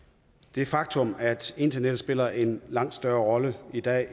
det faktum at internettet spiller en langt større rolle i dag